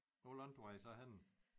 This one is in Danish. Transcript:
Hvor langt var I så henne